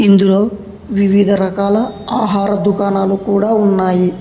ఇందులో వివిధ రకాల ఆహార దుకాణాలు కూడా ఉన్నాయి.